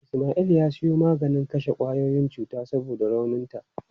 Ismail ya siyo maganin kashe kwayoyin cuta saboda rauninta.